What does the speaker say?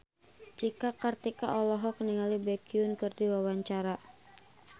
Cika Kartika olohok ningali Baekhyun keur diwawancara